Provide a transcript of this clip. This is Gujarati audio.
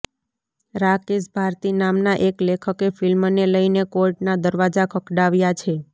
રાકેશ ભારતી નામના એક લેખકે ફિલ્મને લઇને કોર્ટના દરવાજા ખખડાવ્યા છે